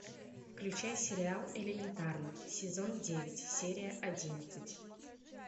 включай сериал элементарно сезон девять серия одиннадцать